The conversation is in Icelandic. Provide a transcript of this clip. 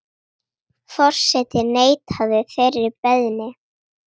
Forseti neitaði þeirri beiðni.